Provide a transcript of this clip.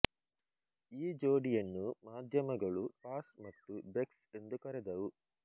ಈ ಜೋಡಿಯನ್ನು ಮಾಧ್ಯಮಗಳು ಪಾಸ್ ಮತ್ತು ಬೆಕ್ಸ್ ಎಂದು ಕರೆದವು